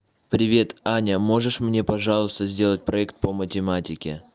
привет аня можешь мне пожалуйста сделать проект по математике